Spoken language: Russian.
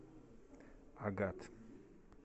агат